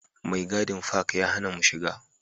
Mai gadin fak ya hana mu shiga